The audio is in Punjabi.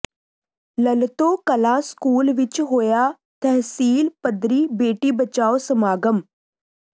ਲਲਤੋਂ ਕਲਾਂ ਸਕੂਲ ਵਿਚ ਹੋਇਆ ਤਹਿਸੀਲ ਪੱਧਰੀ ਬੇਟੀ ਬਚਾਓ ਸਮਾਗਮ